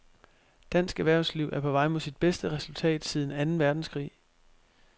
Dansk erhvervsliv er på vej mod sit bedste resultat siden anden verdenskrig.